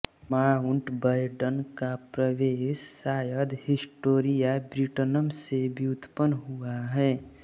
mount Badon का प्रवेश शायद हिस्टोरिया ब्रिटनम से व्युत्पन्न हुआ है